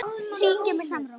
Jú, það tókst!